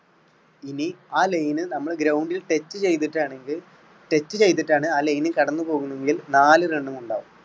ഇനി ആ line നമ്മൾ ground ണ്ടിൽ touch ചെയ്തിട്ടാണെങ്കിൽ touch ചെയ്തിട്ടാണ് ആ line ൽ കടന്നുപോകുന്നെങ്കിൽ നാല് run മുണ്ടാകും.